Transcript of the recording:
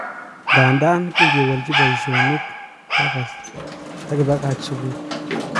Ndadan kingewalichi paishonik, kiakach takipakach sukul.